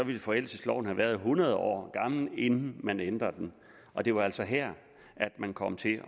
ville forældelsesloven være hundrede år gammel inden man ændrede den og det var altså her man kom til